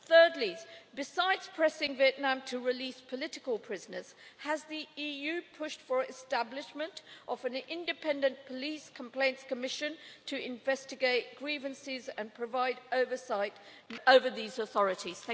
Thirdly, besides pressing Vietnam to release political prisoners, has the EU pushed for establishment of an Independent Police Complaints Commission to investigate grievances and provide oversight over these authorities?